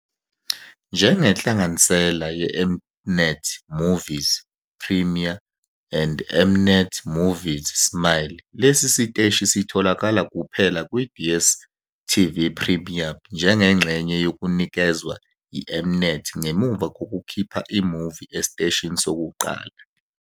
Njengenhlanganisela yeM-Net Movies Premiere and M-Net Movies Smile, lesi siteshi sitholakala kuphela kwi-DStv Premium njengengxenye yokunikezwa yi-M-Net ngemuva kokukhipha i-movie esiteshini sokuqala.